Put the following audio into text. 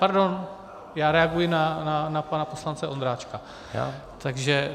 Pardon, já reaguji na pana poslance Ondráčka.